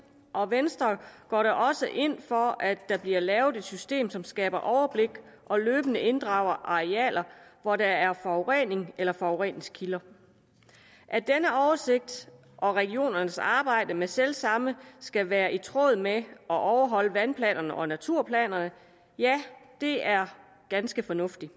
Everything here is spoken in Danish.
og venstre går da også ind for at der bliver lavet et system som skaber overblik og løbende inddrager arealer hvor der er forurening eller forureningskilder at denne oversigt og regionernes arbejde med selv samme skal være i tråd med og overholde vandplanerne og naturplanerne er ganske fornuftigt